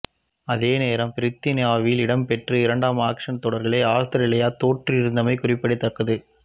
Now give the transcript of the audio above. அதேநேரம் பிரித்தானியாவில் இடம்பெற்ற இரண்டு ஆஷஸ் தொடர்களை அவுஸ்திரேலியா தோற்றிருந்தமை குறிப்பிடத்தக்கது